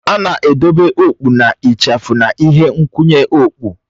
A na-edobe okpụ na ịchafụ na ihe nkwụnye okpụ